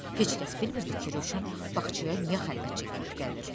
Heç kəs bilmirdi ki, Rövşən bağçaya niyə xəlvətcə gedib gəlir.